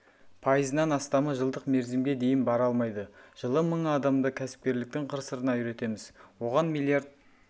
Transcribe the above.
пайызынан астамы жылдық мерзімге дейін бара алмайды жылы мың адамды кәсіпкерліктің қыр-сырына үйретеміз оған миллиард